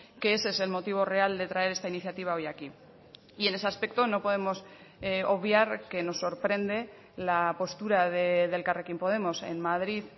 que ese es el motivo real de traer esta iniciativa hoy aquí y en ese aspecto no podemos obviar que nos sorprende la postura de elkarrekin podemos en madrid